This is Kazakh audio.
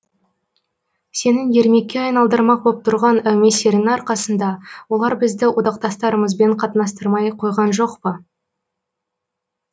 сенің ермекке айналдырмақ боп тұрған әумесеріңнің арқасында олар бізді одақтастарымызбен қатынастырмай қойған жоқ па